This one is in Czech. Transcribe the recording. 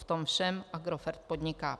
V tom všem Agrofert podniká.